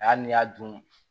A n'i y'a dun